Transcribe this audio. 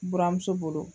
Buramuso bolo